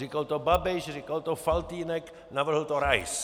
Říkal to Babiš, říkal to Faltýnek, navrhl to Rais.